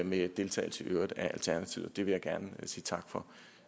med deltagelse af alternativet det vil jeg gerne sige tak for